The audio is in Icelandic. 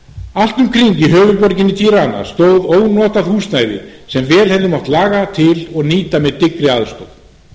allt um kring í höfuðborginni tirana stóð ónotað húsnæði sem vel hefði mátt laga til og nýta með dyggri aðstoð